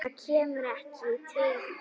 Það kemur ekki til greina.